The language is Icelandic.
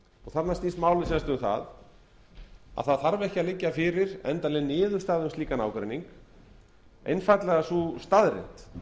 þarna snýst málið sem sagt um það að það þarf ekki að liggja fyrir endanleg niðurstaða um slíkan ágreining einfaldlega sú staðreynd